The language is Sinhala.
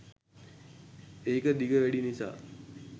ඒක දිග වැඩි නිසා